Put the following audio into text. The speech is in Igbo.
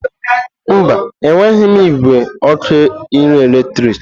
Mba, enweghị m igwe ọkụ nri eletrik.